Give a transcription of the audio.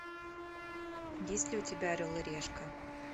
есть ли у тебя орел и решка